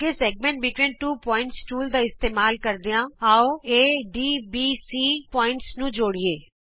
ਅੱਗੇ ਦੋ ਬਿੰਦੂਆਂ ਵਿਚ ਵ੍ਰਤ ਖੰਡ ਟੂਲ ਦਾ ਇਸਤੇਮਾਲ ਕਰਦਿਆਂ ਆਉ A ਡ B C ਬਿੰਦੂਆਂ ਨੂੰ ਜੋੜੀਏ